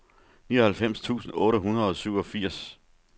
nioghalvfems tusind otte hundrede og syvogfirs